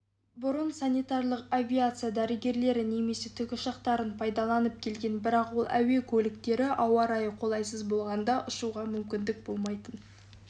бұрын санитарлық авиация дәрігерлері немесе тікұшақтарын пайдаланып келген бірақ ол әуе көліктері ауа райы қолайсыз болғанда ұшуға мүмкіндік болмайтын